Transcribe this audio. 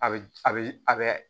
A bɛ a bɛ a bɛ